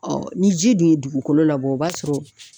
Ɔɔ ni ji dun ye dugukolo labɔ o b'a sɔrɔ